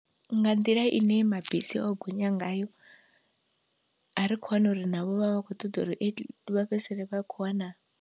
Nga nḓila ine mabisi o gonya ngayo, a ri kho hana uri navho vha vha kho ṱoḓa uri vha fhedzisele vha kho wana.